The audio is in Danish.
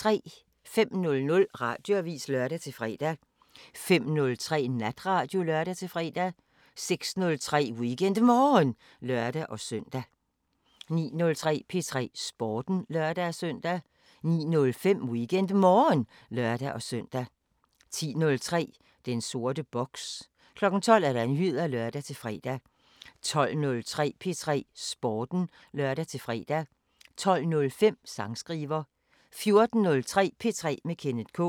05:00: Radioavisen (lør-fre) 05:03: Natradio (lør-fre) 06:03: WeekendMorgen (lør-søn) 09:03: P3 Sporten (lør-søn) 09:05: WeekendMorgen (lør-søn) 10:03: Den sorte boks 12:00: Nyheder (lør-fre) 12:03: P3 Sporten (lør-fre) 12:05: Sangskriver 14:03: P3 med Kenneth K